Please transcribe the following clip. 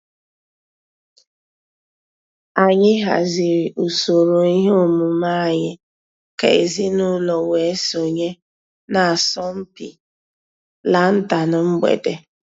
Ànyị̀ hàzìrì ǔsòrò ìhè òmùmè ànyị̀ kà èzìnùlọ̀ wée sọǹyé n'àsọ̀mpị lantern mgbèdè.